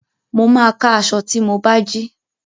Mo máa ka aṣọ tí mo bá jí